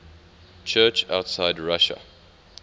church outside russia